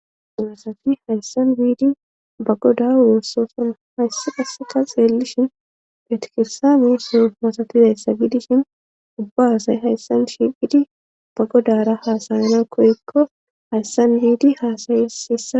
masafi hayssan wiidi bagoda wossosona hayssi qaseka xeellishin petikirsaami so masafizayssa gidishin ubba asay hayssan shiphidi bagodara haasayana koyikko hayssan yiidi haasayesisa